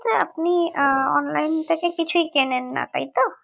যে আপনি আহ online থেকে কিছুই কেনেন না তাইতো